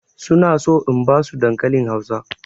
Su na so in ba su dankalin Hausa.